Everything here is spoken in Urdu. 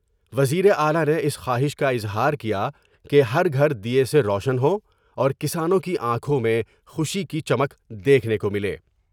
وزیر اعلی نے اس خواہش کا اظہار کیا کہ ہر گھر دیئے سے روشن ہوں اور کسانوں کی آنکھوں میں خوشی کی چمک دیکھنے کو ملے ۔